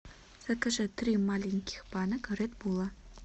закажи три маленьких банок редбула